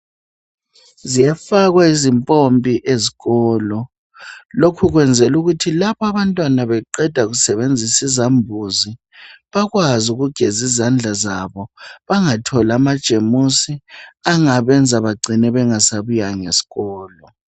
ziyafakwa izimpompi ezikolo lokho kuyenzelwa ukuthi lapho abantwana beqeda kusebenzisa izambuzi bakwazi ukugeza izanda zabo bangatholi amajemusi angabenza bacine bengasabuyanga esikolo